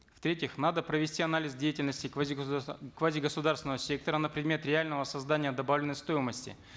в третьих надо провести анализ деятельности квазигосударственного сектора на предмет реального создания добавленной стоимости